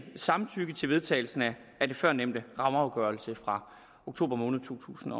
samtykke til vedtagelse af den førnævnte rammeafgørelse fra oktober måned to tusind